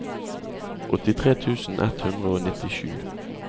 åttitre tusen ett hundre og nittisju